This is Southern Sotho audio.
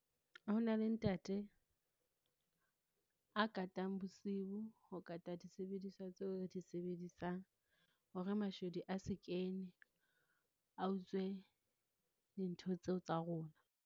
Ho na le ntate a katang bosiu. Ho kata disebediswa tseo re di sebedisang, hore mashodu a se kene, a utswe dintho tseo tsa rona.